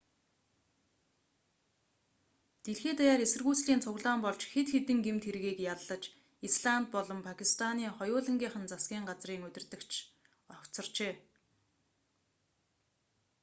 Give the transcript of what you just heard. дэлхий даяар эсэргүүцлийн цуглаан болж хэд хэдэн гэмт хэргийг яллаж исланд болон пакистаны хоёулангийнх нь засгийн газрын удирдагч огцорчээ